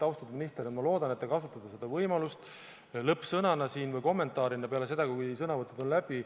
Austatud minister, ma loodan, et te kasutate võimalust lõppsõnaks siin või kommentaariks peale seda, kui sõnavõtud on läbi.